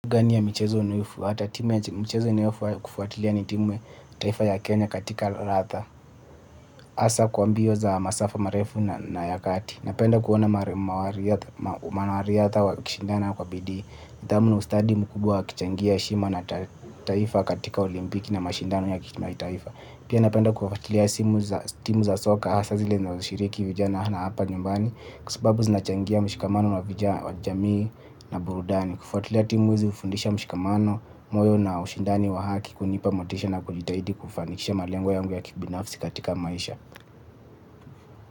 Gani ya michezo unayofuata, timu ya michezo ninayokufuatilia ni timu taifa ya Kenya katika radha, hasa kwa mbio za masafa marefu na ya kati. Napenda kuona wanariadha wakishindana kwa bidii. Dhamu na ustadi mkubwa wakichangia heshima na taifa katika olimpiki na mashindano ya kimataifa. Pia napenda kufuatilia timu za soka hasa zile zinazo shiriki vijana na hapa nyumbani. Kwa sababu zinachangia mshikamano wa vijana wa jamii na burudani. Kufuatila timu hizi hufundisha mshikamano, moyo na ushindani wa haki kunipa motisha na kujitahidi kufanikisha malengo yangu ya kibinafsi katika maisha.